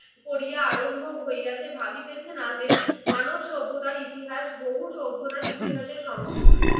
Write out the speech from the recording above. করিয়া আরম্ভ হইয়াছে, ভাবিতেছে না যে মানব সভ্যতার ইতিহাস বহু সভ্যতার ইতিহসের সমষ্টি